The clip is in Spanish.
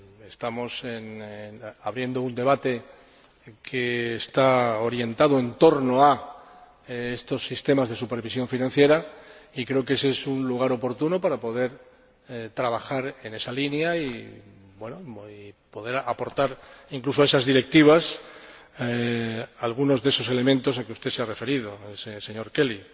Estamos abriendo un debate que está orientado en torno a estos sistemas de supervisión financiera y creo que es un lugar oportuno para poder trabajar en esa línea y poder aportar, incluso a esas Directivas, algunos de esos elementos a que usted se ha referido, señor Kelly.